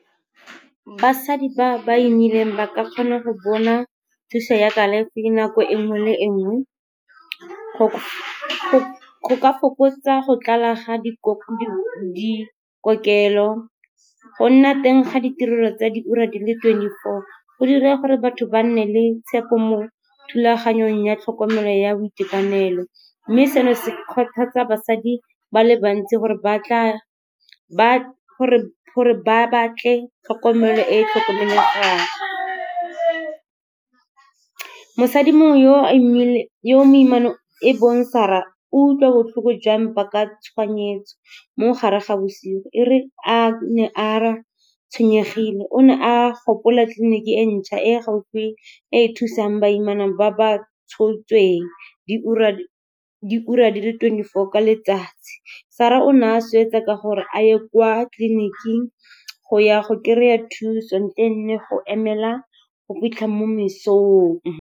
Basadi ba ba imileng ba ka kgona go bona thuso ya kalafi nako enngwe le e nngwe go ka fokotsa go tlala ga dikokelo. Go nna teng ga ditirelo tsa di ura di le twenty-four, go dira gore batho ba nne le tshepo mo thulaganyong ya tlhokomelo ya boitekanelo. Mme seno se kgothatsa basadi ba le bantsi gore gore ba batle tlhokomelo e e . Mosadi yo moimana e bong Sarah, o utlwa botlhoko jwa mpa ka tshoganyetso mo gare ga bosigo, e re a nne a tshwenyegile. O ne a gopola tleliniking e ntšha e gaufi, e e thusang baimana ba ba tshotsweng diura di le twenty-four ka letsatsi. Sarah one a swetsa ka gore a ye kwa tleliniking go ya go kry-a thuso ntleng le go emela go fitlha mo mesong.